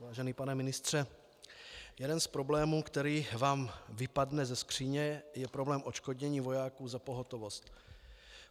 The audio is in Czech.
Vážený pane ministře, jeden z problémů, který vám vypadne ze skříně, je problém odškodnění vojáků za pohotovost.